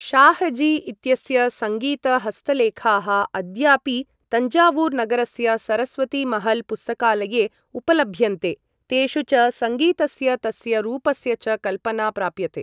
शाहजी इत्यस्य सङ्गीत हस्तलेखाः अद्यापि तञ्जावूर् नगरस्य सरस्वतीमहल् पुस्तकालये उपलभ्यन्ते, तेषु च सङ्गीतस्य तस्य रूपस्य च कल्पना प्राप्यते।